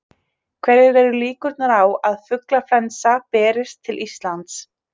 Hverjar eru líkurnar á að fuglaflensa berist til Íslands?